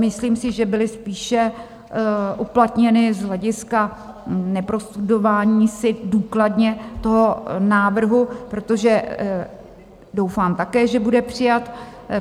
Myslím si, že byly spíše uplatněny z hlediska neprostudování si důkladně toho návrhu, protože doufám také, že bude přijat.